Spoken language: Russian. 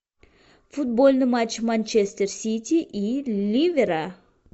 футбольный матч манчестер сити и ливера